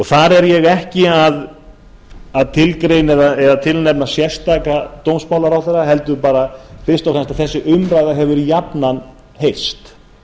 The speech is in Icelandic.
þar er ég ekki að tilgreina eða tilnefna sérstaka dómsmálaráðherra heldur bara fyrst og fremst að þessi umræða hefur jafnan heyrst